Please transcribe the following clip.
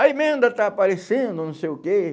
A emenda está aparecendo, não sei o quê.